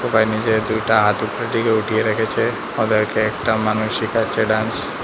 সবাই নিজের দুইটা হাত উপরের দিকে উঠিয়ে রেখেছে ওদেরকে একটা মানুষ শিখাচ্ছে ডান্স ।